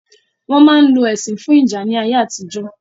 Wọn ma ń lo ẹṣin fún ìjà ní ayé àtijọ́